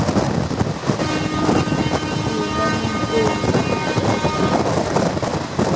terameng ee o ka re